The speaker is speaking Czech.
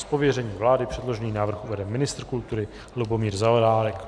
Z pověření vlády předložený návrh uvede ministr kultury Lubomír Zaorálek.